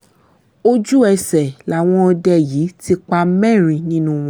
ojú ẹsẹ̀ làwọn ọdẹ yìí ti pa mẹ́rin nínú wọn